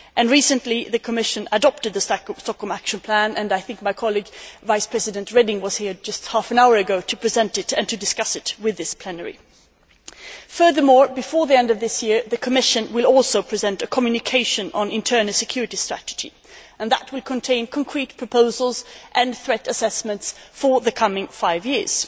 Recently, the Commission adopted the Stockholm Action Plan and I think my colleague, Vice President Reding, was here just half an hour ago to present it and discuss it with this plenary. Furthermore, before the end of this year, the Commission will present a communication on the internal security strategy and that will contain concrete proposals and threat assessments for the coming five years.